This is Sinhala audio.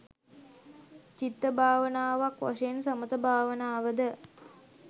චිත්තභාවනාවක් වශයෙන් සමථ භාවනාව ද